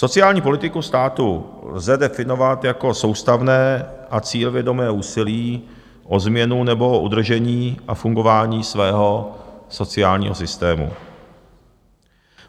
Sociální politiku státu lze definovat jako soustavné a cílevědomé úsilí o změnu nebo o udržení a fungování svého sociálního systému.